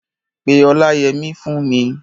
Pe Ọláyẹmí fún mi!